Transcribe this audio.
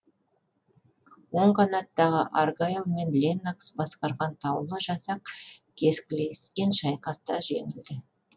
оң қанаттағы аргайл мен леннокс басқарған таулы жасақ кескілескен шайқаста жеңілді